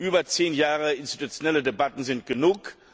Über zehn Jahre institutionelle Debatten sind genug.